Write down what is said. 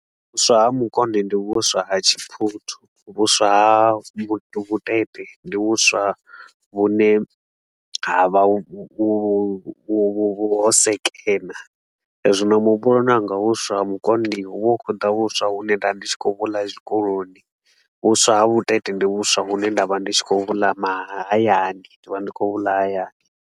Vhuswa ha mukonde ndi vhuswa ha tshiphuthu, vhuswa ha vhutete ndi vhuswa vhune ha vha vhu vhu vhu ho sekena. Zwino muhumbuloni wanga vhuswa ha mukonde, hu vha hu khou ḓa vhuswa hune nda ndi tshi khou vhu ḽa zwikoloni, vhuswa ha vhutete ndi vhuswa vhune nda vha ndi tshi khou vhu ḽa mahayani, ndi vha ndi khou vhu ḽa hayani.